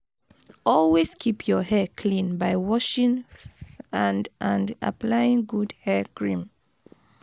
always keep your hair clean by washing and and applying good hair cream